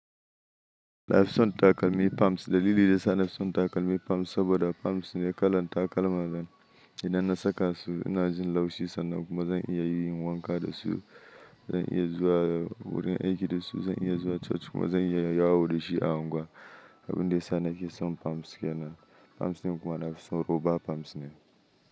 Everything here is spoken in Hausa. Na fitson takalmi pams. Dalili da suna Lafitson takalmi pams saboda pams ne kalan takalma zan idan na saka su ina jin laushi sannan kuma zan iya yin wanka da su, zan iya zuwa wurin aiki da su, zan iya zuwa coci kuma zan iya yawo da shi a unguwa. Abun da yana kison pams yana pams ne kuma nafi so roba pams ne.